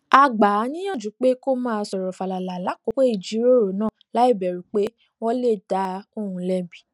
a gbà á níyànjú pé kó máa sòrò fàlàlà lákòókò ìjíròrò náà láìbèrù pé wón lè dá òun lébi